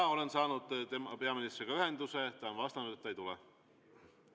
Jaa, olen saanud peaministriga ühenduse ja ta vastas, et ta ei tule.